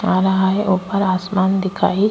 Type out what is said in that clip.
आ रहा है ऊपर आसमान दिखाए।